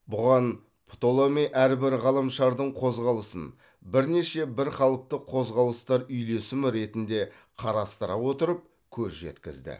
бұған птоломей әрбір ғаламшардың қозғалысын бірнеше бірқалыпты қозғалыстар үйлесімі ретінде қарастыра отырып көз жеткізді